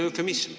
See on eufemism.